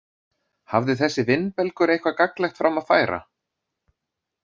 Hafði þessi vindbelgur eitthvað gagnlegt fram að færa?